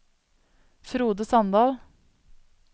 Frode Sandal